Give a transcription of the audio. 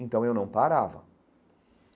Então, eu não parava.